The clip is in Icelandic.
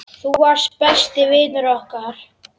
Þú varst besti vinur okkar.